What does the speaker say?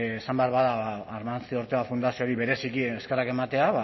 esan behar bada amancio ortega fundazioari bereziki eskerrak ematea